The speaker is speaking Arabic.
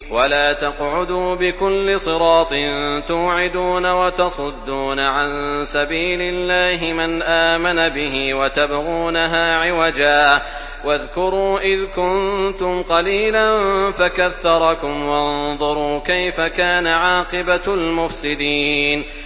وَلَا تَقْعُدُوا بِكُلِّ صِرَاطٍ تُوعِدُونَ وَتَصُدُّونَ عَن سَبِيلِ اللَّهِ مَنْ آمَنَ بِهِ وَتَبْغُونَهَا عِوَجًا ۚ وَاذْكُرُوا إِذْ كُنتُمْ قَلِيلًا فَكَثَّرَكُمْ ۖ وَانظُرُوا كَيْفَ كَانَ عَاقِبَةُ الْمُفْسِدِينَ